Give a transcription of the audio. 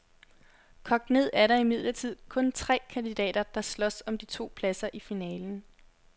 Kogt ned er der imidlertid kun tre kandidater, der slås om de to pladser i finalen.